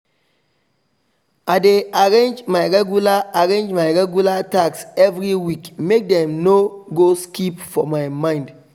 i dey arrange my regular arrange my regular tasks every week make dem no go skip for my mind